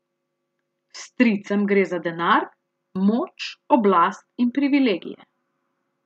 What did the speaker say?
Stricem gre za denar, moč, oblast in privilegije.